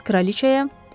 Bəs kraliçaya?